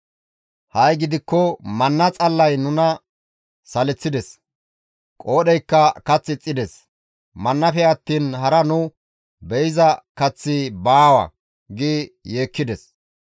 Ha7i gidikko manna xallay nuna saleththides; qoodheykka kath ixxides; mannafe attiin hara nu be7iza kaththi baawa» gi yeekkides.